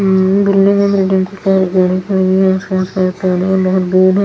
उम गाडी खड़ी हैं उसका बहुत दूर हैं ।